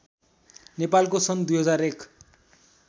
नेपालको सन् २००१